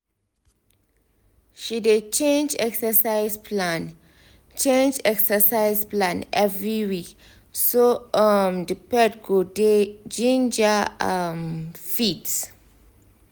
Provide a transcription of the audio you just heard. she dey change exercise plan change exercise plan every week so um the pet go dey ginger um fit